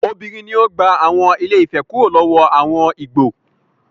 Obìnrin ni ó gba àwọn Ilé-Ifẹ̀ kúrò lọ́wọ́ àwọn Ìgbò.